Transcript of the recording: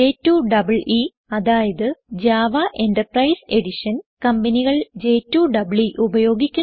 J2EE അതായത് Java enterprise Edition കമ്പനികൾ j2ഇഇ ഉപയോഗിക്കുന്നു